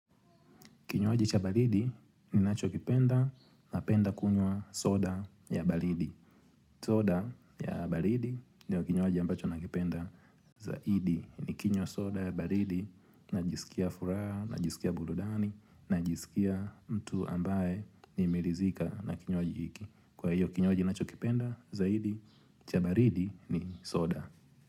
Kinywaji cha baridi ninachokipenda napenda kunywa soda ya balidi. Soda ya balidi ndio kinywaji ambacho nakipenda zaidi. Nikinywa soda ya baridi najisikia furaha, najisikia burudani, najisikia mtu ambaye nimeridhika na kinywaji hiki. Kwa hiyo kinywaji ninachokipenda zaidi, cha baridi ni soda.